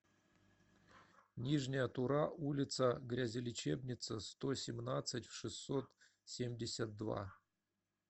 нижняя тура улица грязелечебница сто семнадцать в шестьсот семьдесят два